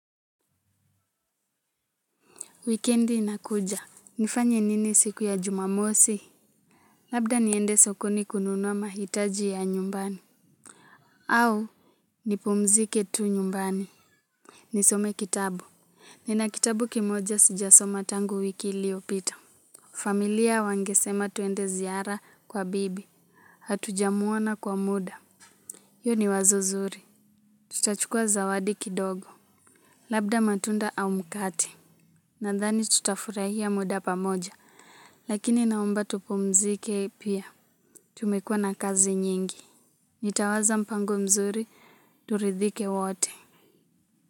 Wikendi inakuja. Nifanye nini siku ya jumamosi? Labda niende sokoni kununua mahitaji ya nyumbani. Au? Ni pumzike tu nyumbani. Nisome kitabu. Nina kitabu kimoja sijasoma tangu wiki iliopita. Familia wangesema tuende ziara kwa bibi. Hatujamuona kwa muda. Hiyo ni wazo zuri. Tutachukua zawadi kidogo. Labda matunda au mkate. Nadhani tutafurahia muda pamoja. Lakini naomba tupumzike pia. Tumekuwa na kazi nyingi. Nitawaza mpango mzuri, turidhike wote.